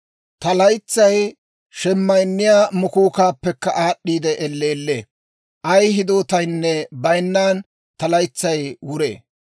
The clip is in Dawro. Ta laytsay shemayinniyaa mukuukkaappekka aad'd'i elleellee; ay hidootaynne bayinnan ta laytsay wuree.